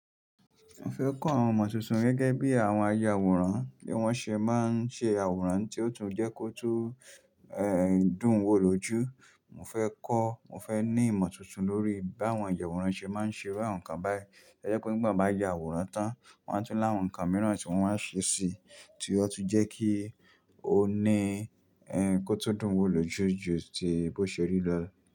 Mo fẹ́ kọ́ àwọn imọ tuntun gẹ́gẹ́ bí àwọn aya àwòrán, bí wọ́n ṣe máa ń ṣe àwòrán tí ó tún jẹ́ kó tó, dùn wo lójú. Mo fẹ́ kọ́, mo fẹ́ ní ìmọ̀ tuntun lórí bí àwọn ayàwòrán ṣe máa ń ṣe iru àwọn ǹkan báyìí. Ẹ jẹ́ pe nígbà bá ya àwòrán tán, wọn á tún láwọn ǹkan mìíràn tí wọ́n máa ṣe sí i tí ó tún jẹ́ kí ó ní, kó tó dùn wo lójú ju tí bó ṣe rí lọ.